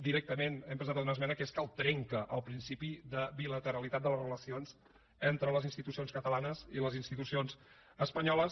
directament hem presentat una esmena que és que el trenca el principi de bilateralitat de les relacions entre les institucions catalanes i les institucions espanyoles